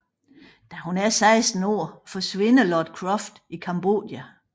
Da hun er 15 år forsvinder Lord Croft i Cambodja